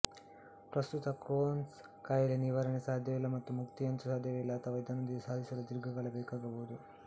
ಪ್ರಸ್ತುತ ಕ್ರೋನ್ಸ್ ಕಾಯಿಲೆಗೆ ನಿವಾರಣೆಸಾಧ್ಯವಿಲ್ಲ ಮತ್ತು ಮುಕ್ತಿಯಂತು ಸಾಧ್ಯವೇ ಇಲ್ಲ ಅಥವಾ ಇದನ್ನು ಸಾಧಿಸಲು ದೀರ್ಘಕಾಲ ಬೇಕಾಗಬಹುದು